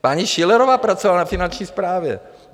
Paní Schillerová pracovala na Finanční správě.